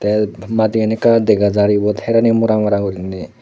teyot madigani ekka dega jar yot herani mora mora guriney.